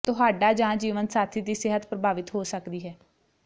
ਤੁਹਾਡਾ ਜਾਂ ਜੀਵਨਸਾਥੀ ਦੀ ਸਿਹਤ ਪ੍ਰਭਾਵਿਤ ਹੋ ਸਕਦੀ ਹੈ